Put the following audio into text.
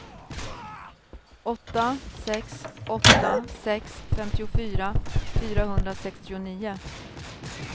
åtta sex åtta sex femtiofyra fyrahundrasextionio